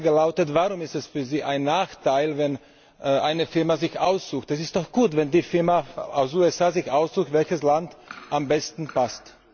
Meine Frage lautet Warum ist es für Sie ein Nachteil, wenn eine Firma sich ein Land aussucht? Es ist doch gut, wenn eine Firma aus den USA sich aussucht, welches Land ihr am besten passt.